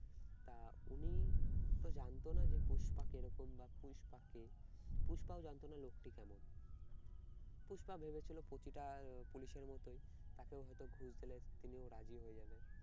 তা উনি তো জানতো না যে পুষ্পা কেরকম বা পুস্পা কে, পুষ্পাও জানতো না লোকটি কেমন। পুষ্পা ভেবেছিল প্রতিটা পুলিশের মতই তাকেও হয়তো ঘুষ দিলে তিনিও রাজি হয়ে যাবে।